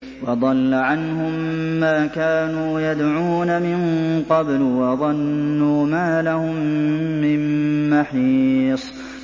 وَضَلَّ عَنْهُم مَّا كَانُوا يَدْعُونَ مِن قَبْلُ ۖ وَظَنُّوا مَا لَهُم مِّن مَّحِيصٍ